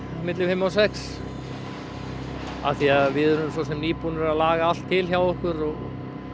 milli fimm og sex af því að við erum nýbúnir að laga allt til hjá okkur og